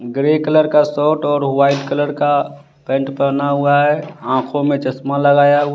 grey colour का shirt और white colour का पेंट पहना हुआ है आंखों में चश्मा लगाया हुआ--